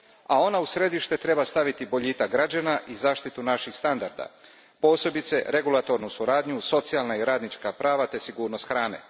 A ona u središte treba staviti boljitak građana i zaštitu naših standarda, posebice regulatornu suradnju, socijalna i radnička prava te sigurnost hrane.